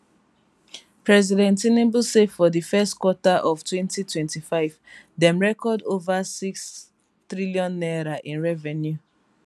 president tinubu say for di first quarter of 2025 dem record ova n6 trillion in revenue